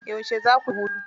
Yauce za kuyi hutu?